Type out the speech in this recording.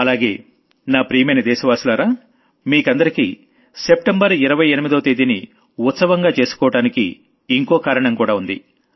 అలాగే నా ప్రియమైన దేశవాసులారా మీకందరికీ సెప్టెంబర్ 28వ తేదీని సెలబ్రేట్ చేసుకోవడానికి ఇంకో కారణం కూడా ఉంది